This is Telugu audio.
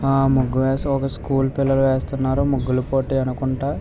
ఆ ముగ్గు ఒక స్కూల్ పిల్లలు వేస్తున్నారు. ముగ్గుల పోటీ అనుకుంటా.